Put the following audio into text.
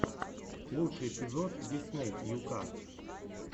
лучший эпизод дисней ю ка